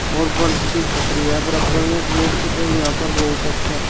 और बड़ी सी छपरी है बराब्बर में एक बोर्ड और यहां पर बहुत अच्छा--